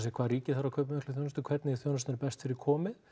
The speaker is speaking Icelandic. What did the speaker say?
hvað ríkið þarf að kaupa mikla þjónustu hvernig þjónustunni er best fyrir komið